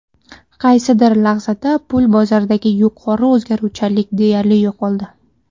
Qaysidir lahzada pul bozoridagi yuqori o‘zgaruvchanlik deyarli yo‘qoldi.